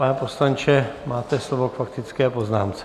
Pane poslanče, máte slovo k faktické poznámce.